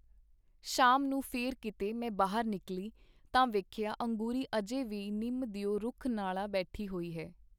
ਸ਼ਾਮ ਨੂੰ ਫੇਰ ਕੀਤੇ ਮੈਂ ਬਾਹਰ ਨਿਕਲੀ, ਤਾਂ ਵੇਖਿਆ ਅੰਗੂਰੀ ਅਜੇ ਵੀ ਨਿੰਮ ਦਿਓ ਰੁੱਖ ਨਾਲਾਂ ਬੈਠੀ ਹੋਈ ਹੈ.